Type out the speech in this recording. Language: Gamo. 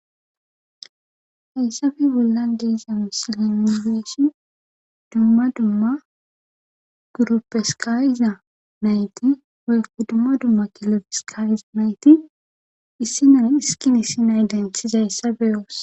Hayssafe bollan deeza musiliminifeeshin dumma dumma gurupeskayiza nayti weyku dumma dumma kelefeskaiza nayti issinan iskini si nay denthizayssa beyoos.